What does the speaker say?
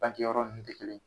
Banke yɔrɔ nunnu te kelen ye.